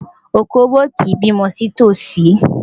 Òkóbó kì í bímọ sí tòsí.